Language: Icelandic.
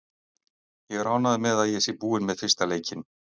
Ég er ánægður með að ég sé búinn með fyrsta leikinn.